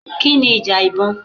Kí ni ìjà ìbọn?